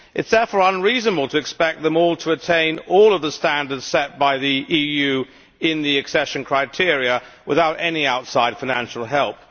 It is therefore unreasonable to expect them all to attain all of the standards set by the EU in the accession criteria, without any outside financial help.